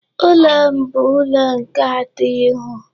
Ụlọ m bu ụlọ nke atọ ịhụ.